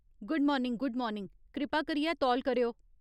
Good morning good morning , कृपा करियै तौल करेओ।